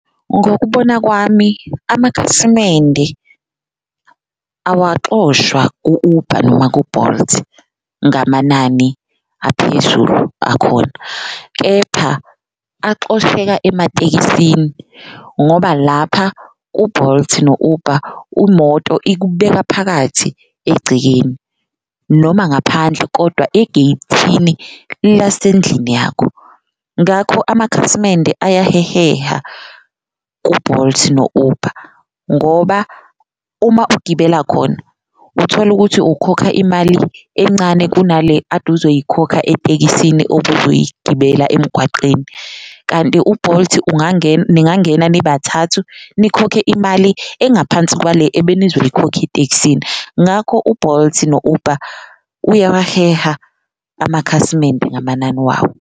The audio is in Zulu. Ngokubona kwami amakhasimende awaxoshwa ku-Uber noma ku-Bolt ngamanani aphezulu akhona, kepha axosheka ematekisini ngoba lapha u-Bolt no-Uber umoto ikubeka phakathi egcekeni noma ngaphandle kodwa egeyithini lasendlini yakho. Ngakho amakhasimende ayaheheha ku-Bolt no-Uber ngoba uma ugibela khona utholukuthi ukhokha imali encane kunale ade uzoyikhokha etekisini obuzoyibela emgwaqeni. Kanti u-Bolt ningangena nibathathu nikhokhe imali engaphansi kwale ebenizoyikhokha etekisini, ngakho u-Bolt no-Uber uyawaheha amakhasimende ngamanani wawo.